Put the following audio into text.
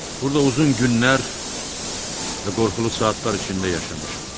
Burda uzun günlər və qorxulu saatlar içində yaşamışam.